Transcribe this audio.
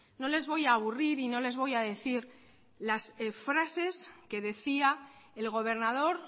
no les voy a aburrir y no les voy a decir las frases que decía el gobernador